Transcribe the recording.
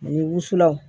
Ani wusulanw